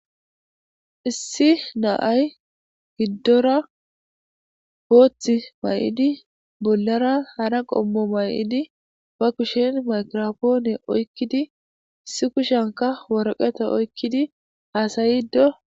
issi na'ay giddora boththi may7idi bollara hara qommo may7idi ba kushen makropoone oykkidi issi kushenka worqeta oykkidi haasayido